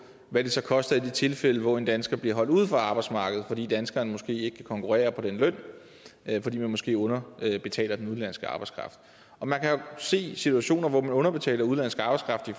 hvad det så koster i de tilfælde hvor en dansker bliver holdt ude fra arbejdsmarkedet fordi danskeren måske ikke kan konkurrere på den løn fordi man måske underbetaler den udenlandske arbejdskraft man kan jo se situationer hvor man underbetaler udenlandsk arbejdskraft det